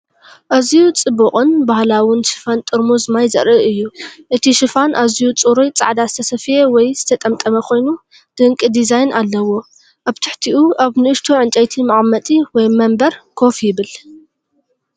ኣዝዩ ጽቡቕን ባህላውን ሽፋን ጥርሙዝ ማይ ዘርኢ እዩ። እቲ ሽፋን ኣዝዩ ጽሩይ ጻዕዳ ዝተሰፍየ ወይ ዝተጠምጠመ ኮይኑ፡ ድንቂ ዲዛይን ኣለዎ። ኣብ ትሕቲኡ ኣብ ንእሽቶ ዕንጨይቲ መቐመጢ ወይ መንበር ኮፍ ይብል።